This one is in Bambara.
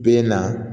Bɛ na